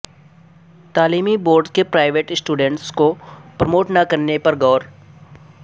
تعلیمی بورڈز کے private students کو پروموٹ نہ کرنے پر غور